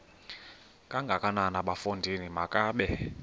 kangakanana bafondini makabe